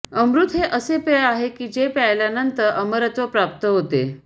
अमृत हे असे पेय आहे की जे प्यायलानंतर अमरत्व प्राप्त होते